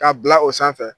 K'a bila o sanfɛ